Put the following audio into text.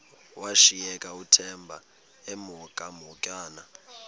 washiyeka uthemba emhokamhokana